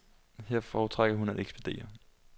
Her foretrækker hun at ekspedere.